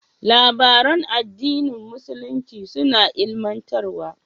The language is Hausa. Labaran addinin musulunci suna ilimantarwa.